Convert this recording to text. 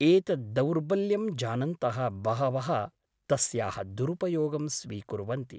एतत् दौर्बल्यं जानन्तः बहवः तस्याः दुरुपयोगं स्वीकुर्वन्ति ।